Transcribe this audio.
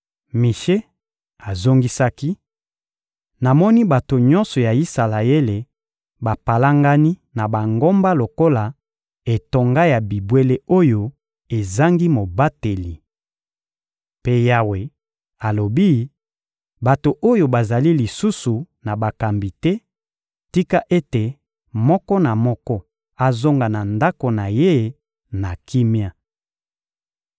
Mishe azongisaki: — Namoni bato nyonso ya Isalaele bapalangani na bangomba lokola etonga ya bibwele oyo ezangi mobateli. Mpe Yawe alobi: «Bato oyo bazali lisusu na bakambi te; tika ete moko na moko azonga na ndako na ye na kimia!»